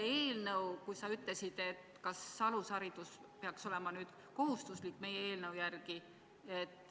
Sa ütlesid, et kui meie eelnõu heaks kiita, siis peaks alusharidus kohustuslik olema.